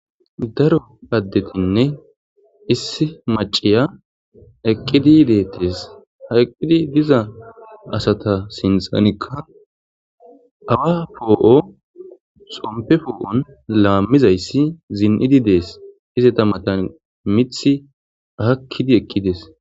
daro paddetinne issi maciya eqqidi yideettes haqqidi diza asata sinxanikka awa poo7o xompe foo7on laammizayssi zin7idi dees hizeta mata mithi ahakkidi eqqides